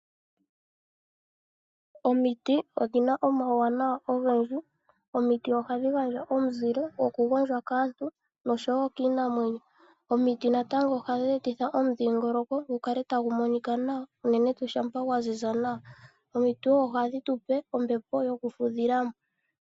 Omiti odhina omawu wanawa ogendji. Omiti ohadhi gandja omuzile goku gondjwa kaantu nosho wo kiinamwenyo. Omiti natango ohadhi etitha omudhiingoloko gukale tagu monika nawa, unene tuu shampa gwa ziza nawa. Omiti woo ohadhi tupe ombepo yoku fudhilamo.